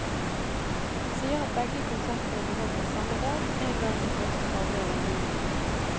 Han sier at begge konsertene blir holdt på samme dag, en gang i første halvdel av juni.